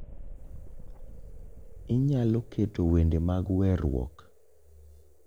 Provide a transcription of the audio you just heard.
Inyialo keto wende mag weruok